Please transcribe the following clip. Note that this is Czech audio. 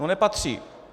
No nepatří.